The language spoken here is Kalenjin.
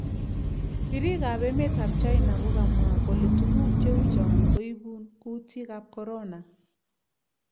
Pirik ap emet ap china ko kamwa koletuguk cheu chong koipun kutik ap corona.